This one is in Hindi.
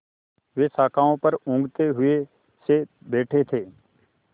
वे शाखाओं पर ऊँघते हुए से बैठे थे